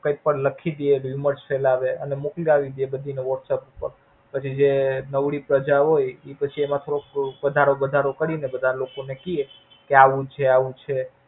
કાયપન લખી દે, Beelmosus ફેલાવે અને મોક્લીવી દે બધી ને WhatsApp પછી જે નવરી પ્રજા હોય ઈ પછી એમાં થોડુંક થોડુંક વધારો વધારો કરી ને બધા લોકો ને કીયે, કે આવું છે આવું છે.